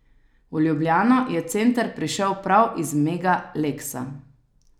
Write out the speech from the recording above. V Ljubljano je center prišel prav iz Mega Leksa.